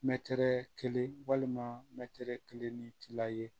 Mɛ kelen walima mɛtiri kelen ni tila ye